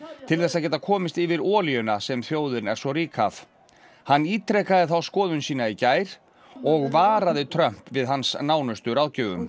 til þess að geta komist yfir olíuna sem þjóðin er svo rík af hann ítrekaði þá skoðun sína í gær og varaði Trump við hans nánustu ráðgjöfum